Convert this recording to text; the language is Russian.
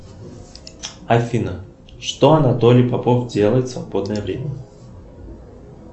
афина что анатолий попов делает в свободное время